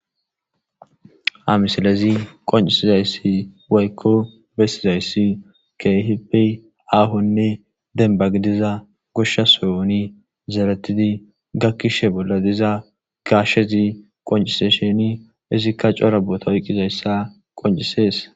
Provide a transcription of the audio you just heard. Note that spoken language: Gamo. Ha misilezi qoncisizaysi woyko besizaysi keehippe aahonne demba gidiza gosha sohon zeretid gakishe bolla diza gashe qoncishn izika cora boota oykidaysi qoncises